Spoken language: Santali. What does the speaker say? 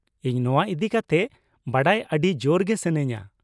ᱤᱧ ᱱᱚᱶᱟ ᱤᱫᱤ ᱠᱟᱛᱮᱫ ᱵᱟᱰᱟᱭ ᱟᱰᱤ ᱡᱳᱨ ᱜᱮ ᱥᱟᱹᱱᱟᱹᱧᱟ ᱾